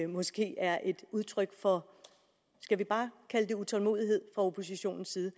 måske er et udtryk for skal vi bare kalde det utålmodighed fra oppositionens side